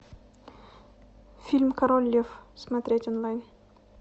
фильм король лев смотреть онлайн